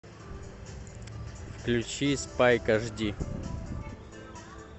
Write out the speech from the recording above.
включи спайк аш ди